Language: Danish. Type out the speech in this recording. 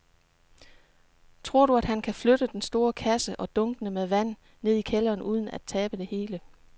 Tror du, at han kan flytte den store kasse og dunkene med vand ned i kælderen uden at tabe det hele?